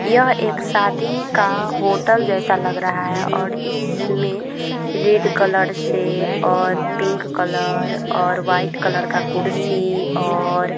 यह एक शादी का होटल जैसा लग रहा है और इसमें रेड कलर से और पिंक कलर और व्हाइट कलर का कुर्सी और --